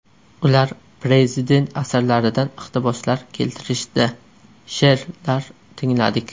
Ular prezident asarlaridan iqtiboslar keltirishdi, she’rlar tingladik.